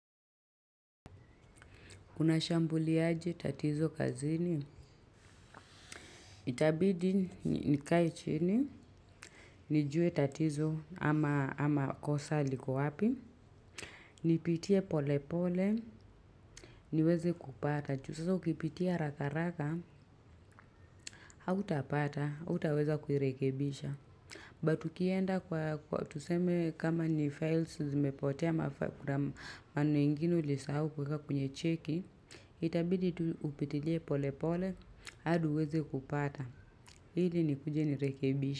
Unashambulia aje tatizo kazini. Itabidi nikae chini. Nijue tatizo ama kosa liko wapi. Nipitie pole pole. Niweze kupata. Juu sasa ukipitia haraka raka. Hautapata. Hautaweza kuirekebisha. But ukienda kwa tuseme kama ni files. Zimepotea mafakura maneno ingine ulisahau kuweka kwenye cheki. Itabidi tu upitilie pole pole. Hadi uweze kupata. Ili nikuje nirekebishe.